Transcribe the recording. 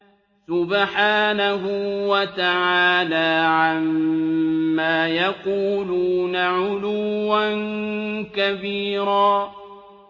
سُبْحَانَهُ وَتَعَالَىٰ عَمَّا يَقُولُونَ عُلُوًّا كَبِيرًا